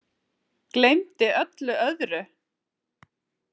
Gleymdi öllu öðru.